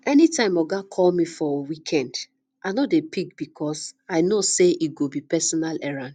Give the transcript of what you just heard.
anytime oga call me for me for weekend i no dey pick because i know say e go be personal errand